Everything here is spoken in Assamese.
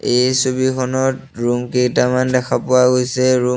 এই ছবিখনত ৰুম কেইটামান দেখা পোৱা গৈছে ৰুম --